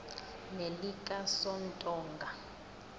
nelikasontonga